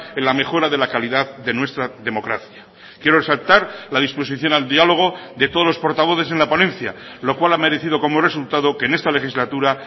en la mejora de la calidad de nuestra democracia quiero resaltar la disposición al diálogo de todos los portavoces en la ponencia lo cual ha merecido como resultado que en esta legislatura